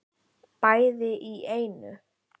Bæði í einu.